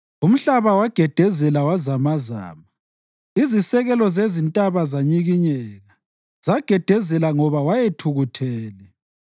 Umhlaba wagedezela wazamazama, izisekelo zezintaba zanyikinyeka; zagedezela ngoba wayethukuthele.